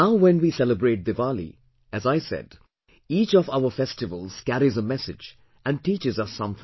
Now when we celebrate Diwali, as I said, each of our festivals carries a message and teaches us something